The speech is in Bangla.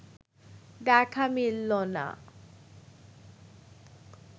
দেখা মিলল না